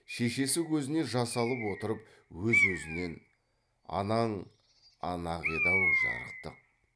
шешесі көзіне жас алып отырып өз өзінен анаң ана ақ еді ау жарықтық